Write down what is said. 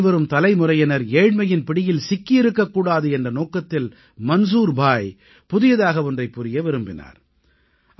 இனிவரும் தலைமுறையினர் ஏழ்மையின் பிடியில் சிக்கி இருக்கக் கூடாது என்ற நோக்கத்தில் மன்சூர் பாய் புதியதாக ஒன்றைப் புரிய விரும்பினார்